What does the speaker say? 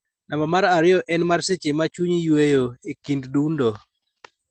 namba mar ariyo en mar seche ma chunyi yueyo, e kind dundo,